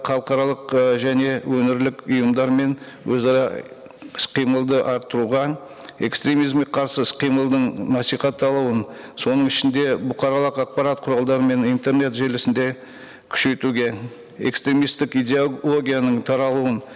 халықаралық і және өңірлік ұйымдары мен өзара іс қимылды арттыруға экстремизмге қарсы іс қимылдың насихатталуын соның ішінде бұқаралық ақпарат құралдары мен интернет желісінде күшейтуге экстремисттік идеологияның таралуын